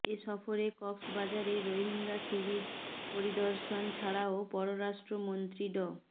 এ সফরে কক্সবাজারে রোহিঙ্গা শিবির পরিদর্শন ছাড়াও পররাষ্ট্রমন্ত্রী ড